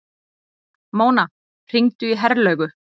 Mona, hringdu í Herlaugu.